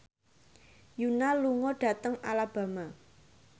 Yoona lunga dhateng Alabama